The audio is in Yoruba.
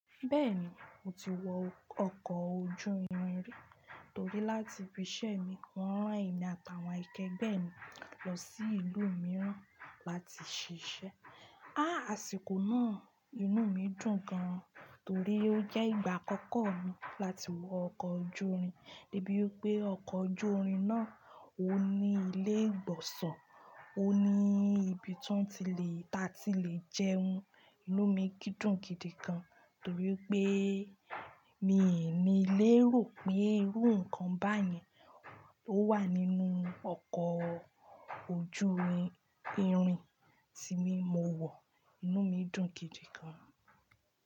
Bẹ́ni mo ti wọ ọkọ̀ ojú irin rí tórí láti ibi iṣẹ́ wo ran èmi àti àwọn akẹ́gbẹ́ lọ sí ìlú mìràn láti ṣiṣẹ́. Áà, àsìkò náà inú mi dùn gan torí ó jẹ́ ìgbà àkọ́kọ́ mi láti wọ ọkọ̀ ojú irin. Dé bí wípé ọkọ̀ ojú irin náà ó ní ilé ìgbọ̀nsun, ó ní ibi tí wọ́n ti lè, tí a ti lè jẹun, inú mi sí dùn gidigan. Torí pé míì ní lérò pé irú nǹkan báyìí ló wà nínú ọkọ̀ ojú irin tí mo wọ̀, inú mi dùn gidigan.